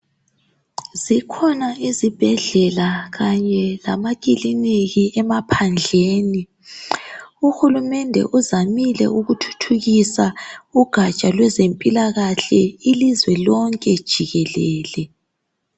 Zikhona izibhedlela kanye lamakiliniki emaphandleni, uhulumende uzamile ukuthuthukisa ugatsha lwezempilakahle ilizwe lonke jikelele.